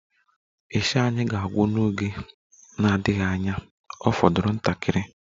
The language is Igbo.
Isha anyị ga-agwụ n'oge na-adịghị anya,Ọ fọdụrụ ntakịrị